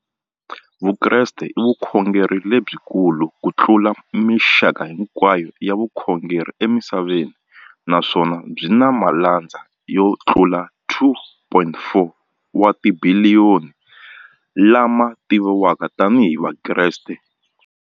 Vukreste i vukhongeri lebyi kulu kutlula mixaka hinkwayo ya vukhongeri emisaveni, naswona byi na malandza yo tlula 2.4 wa tibiliyoni, la ma tiviwaka tani hi Vakreste.